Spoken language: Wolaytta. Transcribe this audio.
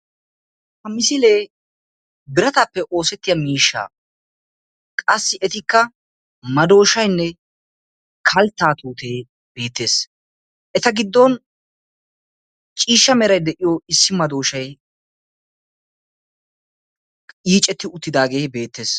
Ha misilee birattappe oosetiya miishshaa; qasi etikka maddoshaynne kaltta tuute beettees; eta giddon ciishsha meray de'iyo issi maddoshay yiicceti uttidaage beettees.